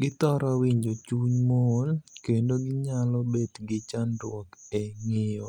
Githoro winjo chuny mool, kendo ginyalo bet gi chandruok e ng'iiyo